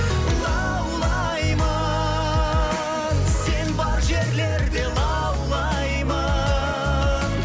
лаулаймын сен бар жерлерде лаулаймын